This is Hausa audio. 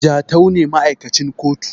Jatau ne ma`aikacin kotu